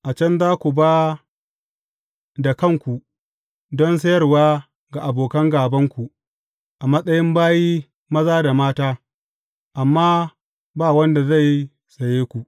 A can za ku ba da kanku don sayarwa ga abokan gābanku a matsayin bayi maza da mata, amma ba wanda zai saye ku.